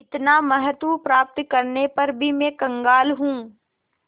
इतना महत्व प्राप्त करने पर भी मैं कंगाल हूँ